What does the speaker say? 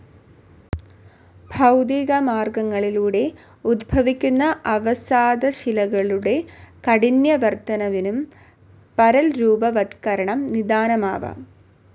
ഭൗതികമാർഗങ്ങളിലൂടെ ഉദ്ഭവിക്കുന്ന അവസാദശിലകളുടെ കാഠിന്യവർദ്ധനവിനും പരൽരൂപവത്കരണം നിദാനമാവാം.